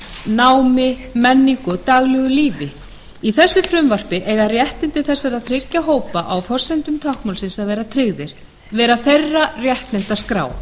námi menningu og daglegu lífi í þessu frumvarpi eiga réttindi þessara þriggja hópa á forsendum táknmálsins að vera tryggð vera þeirra réttindaskrá